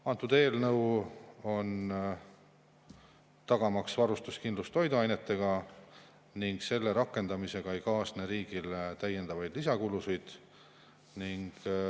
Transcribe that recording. Antud eelnõu on, tagamaks toiduainete varustuskindlus, ning selle rakendamisega ei kaasne riigile lisakulusid.